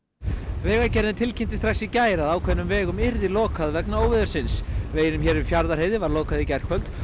vegagerðin tilkynnti strax í gær að ákveðnum vegum yrði lokað vegna óveðursins veginum hér um Fjarðarheiði var lokað í gærkvöld